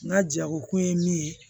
N ka jagokun ye min ye